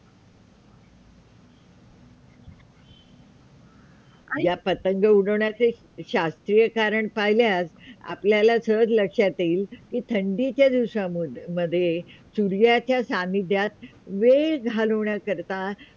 या पतंग उडवण्याचे शास्त्रीय कारण पाहल्यास आपल्याला सहज लक्षात येईल कि थंडीच्या दिवसामध्ये सूर्याच्या सानिध्यात वेळ घालवन्या करता करिता.